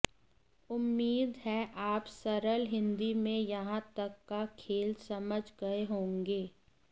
उम्मीद है आप सरल हिंदी में यहां तक का खेल समझ गए होंगे